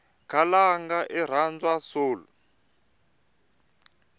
khalanga irhandzwa soul